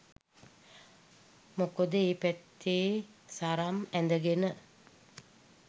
මොකද ඒ පැත්තේ සරම් ඇඳගෙන